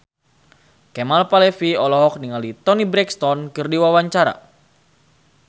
Kemal Palevi olohok ningali Toni Brexton keur diwawancara